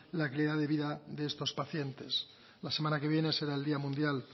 la calidad de vida de estos pacientes la semana que viene será el día mundial